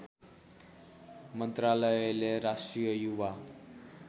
मन्त्रालयले राष्ट्रिय युवा